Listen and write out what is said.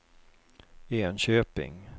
Enköping